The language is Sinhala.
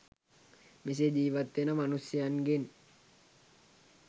මෙසේ ජීවත් වන මනුෂ්‍යයන්ගෙන්